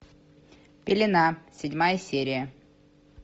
пелена седьмая серия